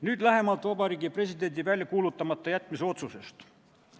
Nüüd lähemalt Vabariigi Presidendi seaduse väljakuulutamata jätmise otsusest.